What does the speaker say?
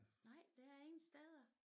Nej det er ingen steder